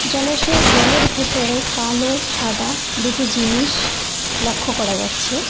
জলাশয়ের জলের ভেতরে কালো সাদা দুটো জিনিস লক্ষ করা যাচ্ছে।